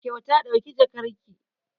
Kyauta ɗauki jakarki!